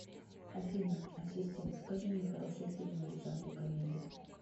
афина ассистент покажи мне хорошие фильмы в жанре комедия